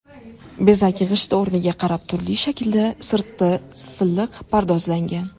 Bezak g‘ishti o‘rniga qarab turli shaklda, sirti silliq pardozlangan.